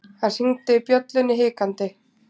Hann hringdi bjöllunni hikandi.